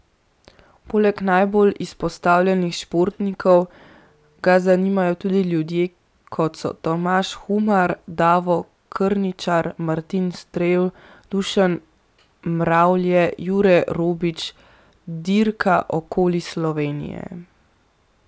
Poleg najbolj izpostavljenih športnikov ga zanimajo tudi ljudje, kot so Tomaž Humar, Davo Krničar, Martin Strel, Dušan Mravlje, Jure Robič, Dirka okoli Slovenije ...